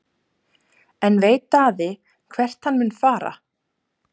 En veit Daði hvert hann mun fara?